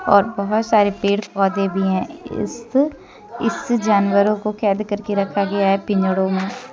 और बहुत सारे पेड़ पौधे भी हैं इस इस जानवरों को कैद करके रखा गया है पिंजड़ों में।